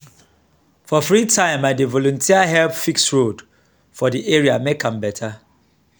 for free time i dey volunteer help fix road for di area make am better.